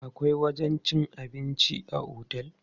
Akwai wajen cin abinci a otel.